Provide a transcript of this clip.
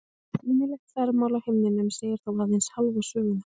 Sýnilegt þvermál á himninum segir þó aðeins hálfa söguna.